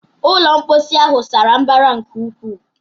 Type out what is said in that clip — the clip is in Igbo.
Ulọ mposi ahụ sara mbara nke ukwuu